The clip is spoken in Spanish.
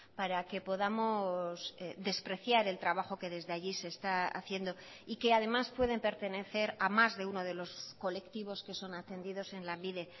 para que podamos despreciar el trabajo que desde allí se está haciendo y que además pueden pertenecer a más de uno de los colectivos que son atendidos en lanbide